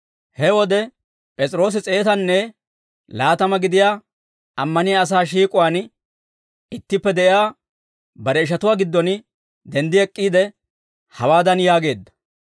He wode, P'es'iroosi s'eetanne laatama gidiyaa ammaniyaa asaa shiik'uwaan ittippe de'iyaa bare ishatuwaa giddon denddi ek'k'iide, hawaadan yaageedda;